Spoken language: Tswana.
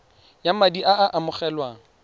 ya madi a a amogelwang